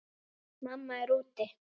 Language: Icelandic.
Mamma er úti.